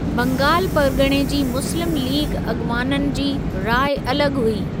बंगाल परिॻणे जी मुस्लिम लीग अॻिवाननि जी राइ अलॻ हुई।